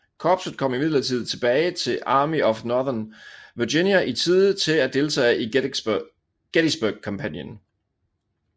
Korpset kom imidlertid tilbage til Army of Northern Virginia i tide til at deltage i Gettysburg kampagnen